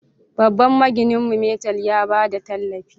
Babban magininmu, Metal, ya ba da tallafi